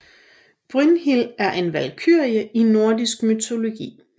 Brynhild er en valkyrie i nordisk mytologi